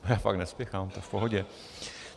Já fakt nespěchám, to je v pohodě.